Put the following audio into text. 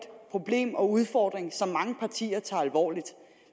problem og en udfordring som mange partier tager alvorligt